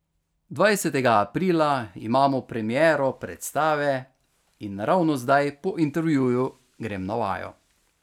Dvajsetega aprila imamo premiero predstave in ravno zdaj po intervjuju grem na vajo.